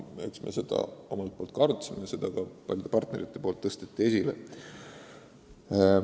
Eks me seda omalt poolt ka arutasime ja paljud partnerid tõstatasid selle.